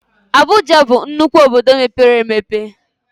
Abụja bụ nnukwu obodo mepere emepe